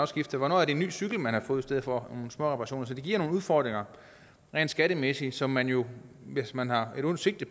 skifter hvornår er det en ny cykel man har fået i stedet for småreparationer så det giver nogle udfordringer rent skattemæssigt som man jo hvis man har et ondt sigte